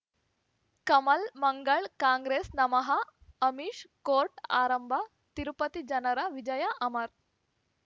ಕಮಲ್ ಮಂಗಳ್ ಕಾಂಗ್ರೆಸ್ ನಮಃ ಅಮಿಷ್ ಕೋರ್ಟ್ ಆರಂಭ ತಿರುಪತಿ ಜನರ ವಿಜಯ ಅಮರ್